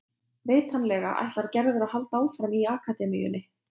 Vitanlega ætlar Gerður að halda áfram í akademíunni.